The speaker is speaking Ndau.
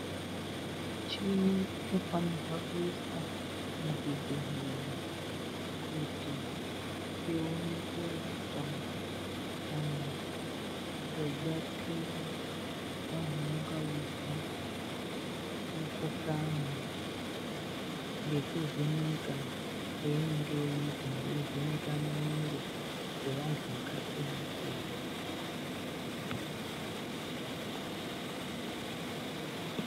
Chimwe chinofanirwa kuitwa muzvibhendlera kuti ione kurapa kana kubatsira vantu vanenge veizwa mikhuhlani nekuvheneka kweinenge yeiita, yeivheneka mwiri yevantu vakasiyana siyana.